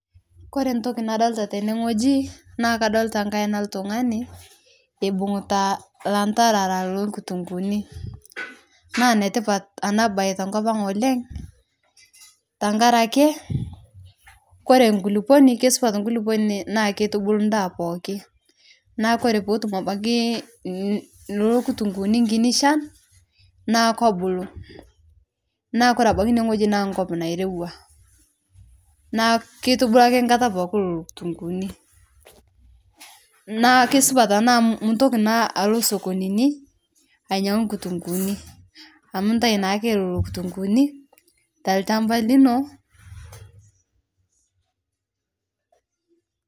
Ore entoki nadolita tenewueji na kadolita enkaina oltungani ebung'ita ilantarara loo nkitunguuni naa enetipata ena bae tenkop ang oleng tenkaraki ore enkulukuoni kisupat enkulukuoni naa kitubulu endaa pooki neeku ore peetum abaiki Nena kitunguuni ekiti shan naa kebulu neeku ore ebaiki ineweuji naa enkop nairowua neeku kitubulu ake enkata pookin ina kitunguuni naa kisupat enaa amuu mintoki naa alo sokonini ainyang'u kitunguuni amuu entayu naake Nena kitunguuni tolchamba lino